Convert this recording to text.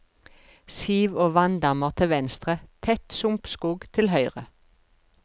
Siv og vanndammer til venstre, tett sumpskog til høyre.